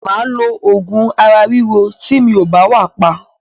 Mà á lo oògùn ara ríro tí mi ò bá wà pa.